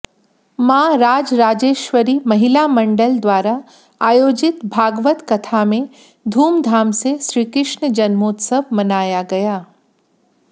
मां राजराजेश्वरी महिला मंडल द्वारा आयोजित भागवत कथा में धूमधाम से श्रीकृष्ण जन्मोत्सव मनाया गया